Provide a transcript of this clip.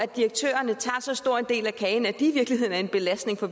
direktørerne tager så stor en del af kagen at de i virkeligheden er en belastning for